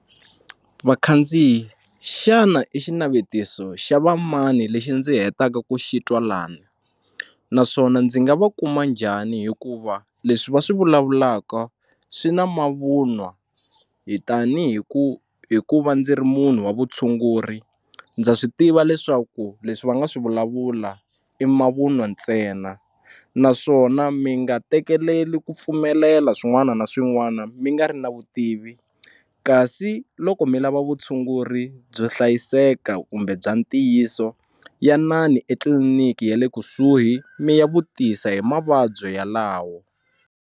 Vakhandziyi xana i xinavetiso xa va mani lexi ndzi hetaka ku xi twa lani naswona ndzi nga va kuma njhani hikuva leswi va swi vulavulaka swi na mavun'wa hi tanihi ku hi ku va ndzi ri munhu wa vutshunguri ndza swi tiva leswaku leswi va nga swi vulavula i mavunwa ntsena naswona mi nga tekeleli ku pfumelela swin'wana na swin'wana mi nga ri na vutivi kasi loko mi lava vutshunguri byo hlayiseka kumbe bya ntiyiso yanani etliliniki ya le kusuhi mi ya vutisa hi mavabyi yalawo.